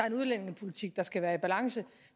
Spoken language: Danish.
en udlændingepolitik der skal være i balance